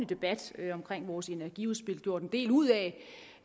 debat om vores energiudspil har gjort en del ud af